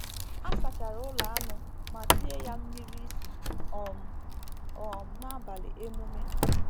A sachara ụlọ anụ ma tie ya mmiri isi um um n’abalị emume